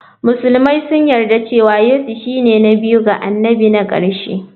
Musulmai sun yarda cewa Yesu shine na biyu ga annabi na ƙarshe.